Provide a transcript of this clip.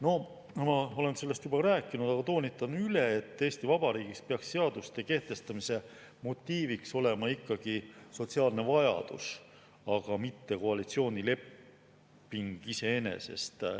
No, ma olen sellest juba rääkinud, aga toonitan üle, et Eesti Vabariigis peaks seaduste kehtestamise motiiv olema ikkagi sotsiaalne vajadus, mitte koalitsioonileping iseeneses.